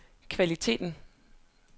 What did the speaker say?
kvaliteten